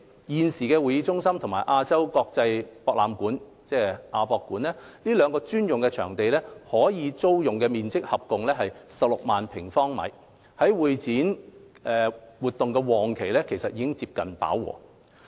現時會展中心和亞洲國際博覽館這兩個專用會展場地的可租用面積合共約16萬平方米，在會展活動旺季期間已接近飽和。